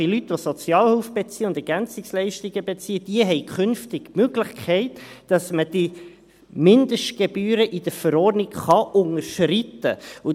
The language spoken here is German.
Bei Leuten, die Sozialhilfe und EL beziehen, besteht künftig die Möglichkeit, dass man die Mindestgebühren in der Verordnung unterschreiten kann.